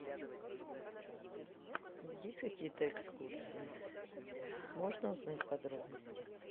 есть какие то экскурсии можно узнать подробности